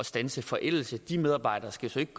standse forældelse de medarbejdere skal så ikke